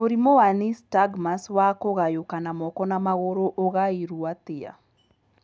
Mũrimũ wa nystagmus wa kũgayũkana moko na magũrũ ũgaĩrũo atĩa?